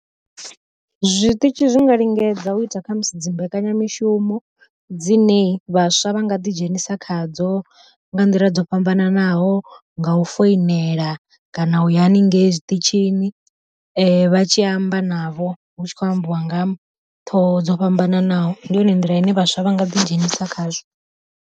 Zwiṱitshi zwi nga lingedza u ita khamusi dzimbekanyamishumo dzine vhaswa vha nga ḓi dzhenisa khadzo, nga nḓila dzo fhambananaho nga u foinela kana u ya haningei zwiṱitshini, vha tshi amba navho hu tshi kho ambiwa nga ṱhoho dzo fhambananaho ndi yone nḓila ine vhaswa vha nga ḓi dzhenisa khazwo.